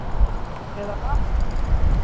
Eða lamb